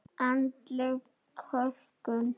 Andleg kölkun: engin.